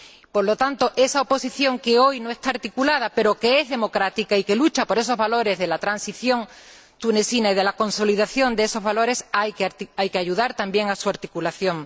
Por lo tanto, a esa oposición que hoy no está articulada, pero que es democrática y que lucha por esos valores de la transición tunecina y de la consolidación de esos valores, hay que ayudarle, también en su articulación.